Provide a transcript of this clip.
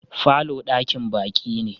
falo dakin baki ne.